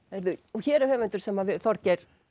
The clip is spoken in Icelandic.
hér er höfundur sem við Þorgeir